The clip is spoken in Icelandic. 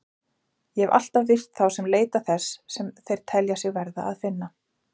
Ég hef alltaf virt þá sem leita þess sem þeir telja sig verða að finna.